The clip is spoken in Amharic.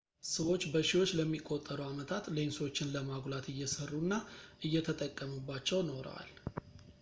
ሰዎች በሺዎች ለሚቆጠሩ ዓመታት ሌንሶችን ለማጉላት እየሠሩ እና እየተጠቀሙባቸው ኖረዋል